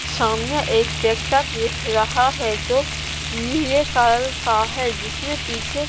सामने एक ट्रैक्टर दिख रहा है जो नीले कलर का है जिसमें पीछे--